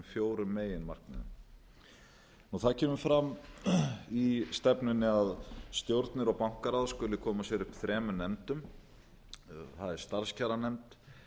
þessum fjórum meginmarkmiðum það kemur fram i stefnunni að stjórnir og bankaráð skuli koma sér upp þremur efnum það eru starfskjaranefnd